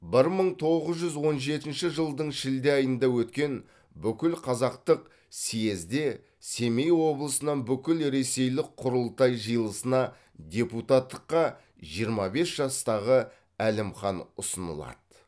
бір мың тоғыз жүз он жетінші жылдың шілде айында өткен бүкілқазақтық съезде семей облысынан бүкіл ресейлік құрылтай жиылысына депутаттыққа жиырма бес жастағы әлімхан ұсынылады